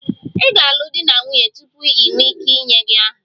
Ị ga-alụ di na nwunye tupu ị nwee ike inye gị aha